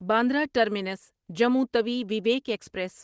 Bandra terminus Jammu Tawi Vivek express